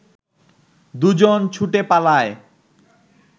দুজন ছুটে পালায়